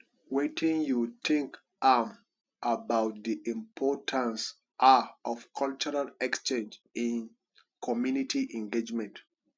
wetin you think um about di importance um of cultural exchange in community engagement